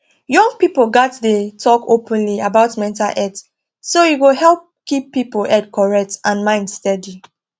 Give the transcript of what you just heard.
young people gats dey talk openly about mental health so e go help keep people head correct and mind steady